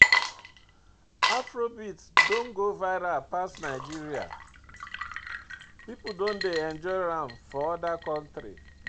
Afrobeat don go viral pass Nigeria, pipo don dey enjoy am for oda countries